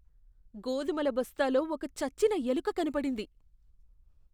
గోధుమల బస్తాలో ఒక చచ్చిన ఎలుక కనపడింది.